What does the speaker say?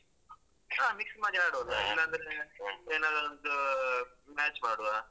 ಹಾ mix ಮಾಡಿ ಆಡುವಲ್ಲ ಇಲ್ಲಾಂದ್ರೇ ಏನಾದ್ರು ಒಂದೂ match ಮಾಡುವ.